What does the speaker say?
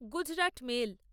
Gujarat mail